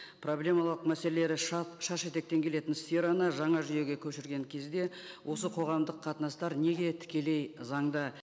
проблемалық мәселелері шешетектен келетін сфераны жаңа жүйеге көшірген кезде осы қоғамдық қатынастар неге тікелей заңда